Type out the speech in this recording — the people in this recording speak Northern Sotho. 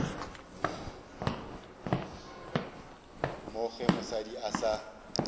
mo ge mosadi a sa